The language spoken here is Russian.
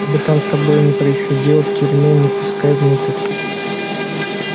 что бы там с тобой ни происходило в тюрьме не пускай внутрь